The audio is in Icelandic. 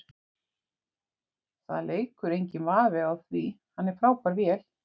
Það leikur enginn vafi á því, hann er frábær vél.